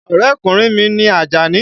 Ọ̀rẹ́kùnrin mi ni Àjàní.